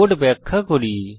code ব্যাখ্যা করি